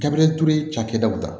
Gabiriyɛri ture cakɛdaw la